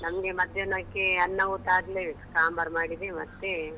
ನಮ್ಗೆ ಮಧ್ಯಾಹ್ನಕ್ಕೆ ಅನ್ನ ಊಟ ಆಗ್ಲೇಬೇಕು ಸಾಂಬಾರ್ ಮಾಡಿದೆ ಮತ್ತೆ.